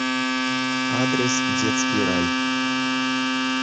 адрес детский рай